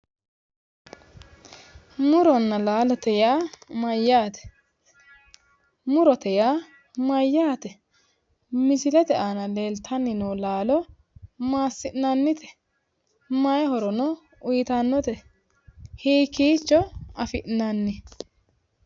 Muronna laalo yaa mayyaate? Murote yaa mayyaate? Mislete aana leeltanni noo laalo massi'nannite? May horo uytannote? Hikiicho afi'nani? Maaho horonsi'nan?